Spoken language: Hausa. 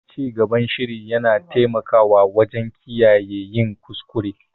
Cigaban shiri na taimakawa wajen kiyaye yin kuskure.